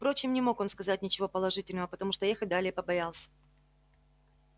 впрочем не мог он сказать ничего положительного потому что ехать далее побоялся